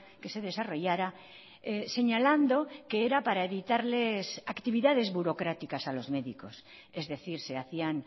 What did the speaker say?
que se desarrollara señalando que era para evitarles actividades burocráticas a los médicos es decir se hacían